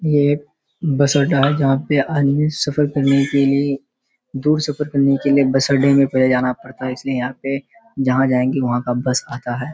ये एक बस अड्डा है जहाँ पे आदमी सफर करने के लिए दूर सफर करने के लिए बस अड्डे मे पहले जाना पड़ता है इसलिए यहाँ पे जहाँ जाएंगे वहाँ का बस आता है।